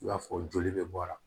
I b'a fɔ joli bɛ bɔ a la